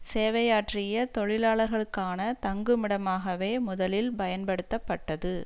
சேவையாற்றிய தொழிலாளர்களுக்கான தங்குமிடமாகவே முதலில் பயன்படுத்தப்பட்டது